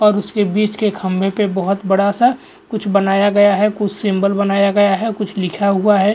और उसके बीच के खंभे पे बहुत बड़ा सा कुछ बनाया गया है कुछ सिंबल बनाया गया है कुछ लिखा हुआ है।